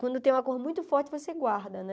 Quando tem uma coisa muito forte, você guarda, né?